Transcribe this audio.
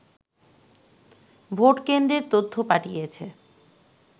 ভোটকেন্দ্রের তথ্য পাঠিয়েছে